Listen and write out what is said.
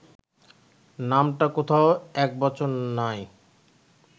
নামটা কোথাও একবচন নাই